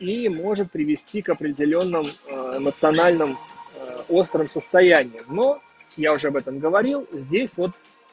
и может привести к определённым эмоциональным острым состояниям но я уже об этом говорил здесь вот